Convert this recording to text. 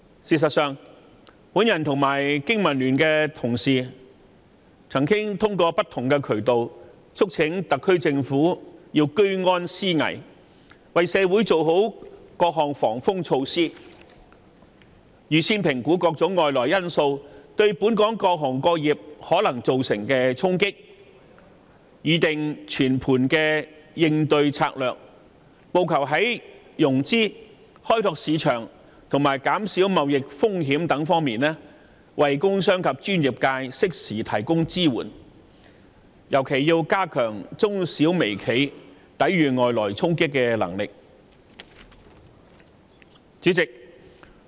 事實上，我與經民聯的同事曾通過不同的渠道，促請特區政府居安思危，為社會做好各項防風措施，預先評估各種外來因素對本港各行各業可能造成的衝擊，從而擬定全盤的應對策略，務求在融資、開拓市場及減少貿易風險等方面為工商及專業界適時提供支援，特別是加強中小微企抵禦外來衝擊的能力。